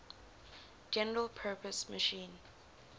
general purpose machine